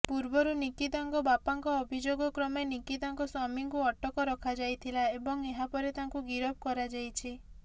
ପୂର୍ବରୁ ନିକିତାଙ୍କ ବାପାଙ୍କ ଅଭିଯୋଗ କ୍ରମେ ନିକିତାଙ୍କ ସ୍ୱାମୀଙ୍କୁ ଅଟକ ରଖାଯାଇଥିଲା ଏବଂ ଏହାପରେ ତାଙ୍କୁ ଗିରଫ କରାଯାଇଛି